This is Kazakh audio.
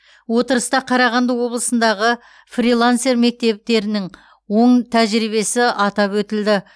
отырыста қарағанды облысындағы фрилансер мектептерінің оң тәжірибесі атап өтілді